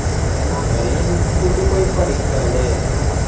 ആഹ് ഒരേ institute ൽ പോയി പഠിക്കാ ല്ലേ